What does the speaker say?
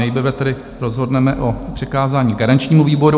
Nejprve tedy rozhodneme o přikázání garančnímu výboru.